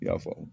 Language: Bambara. I y'a faamu